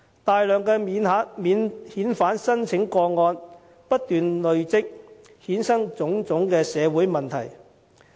大量的免遣返聲請不斷累積，衍生種種社會問題。